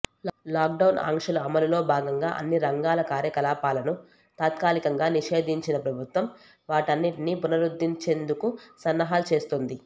lockdown ఆంక్షల అమలులో భాగంగా అన్ని రంగాల కార్యకలాపాలను తాత్కాలికంగా నిషేంధించిన ప్రభుత్వం వాటన్నింటిని పునరుద్దరించేందుకు సన్నాహాలు చేస్తోంది